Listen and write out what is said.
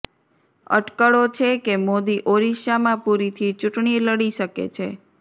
અટકળો છે કે મોદી ઓરિસ્સામાં પુરીથી ચૂંટણી લડી શકે છે